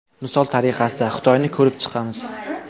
Misol tariqasida, Xitoyni ko‘rib chiqamiz.